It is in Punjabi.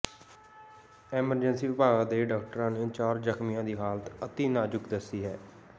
ਐਮਰਜੈਂਸੀ ਵਿਭਾਗ ਦੇ ਡਾਕਟਰਾਂ ਨੇ ਚਾਰ ਜ਼ਖ਼ਮੀਆਂ ਦੀ ਹਾਲਤ ਅਤਿ ਨਾਜ਼ੁਕ ਦੱਸੀ ਹੈ